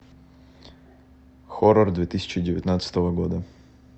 хоррор две тысячи девятнадцатого года